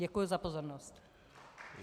Děkuji za pozornost.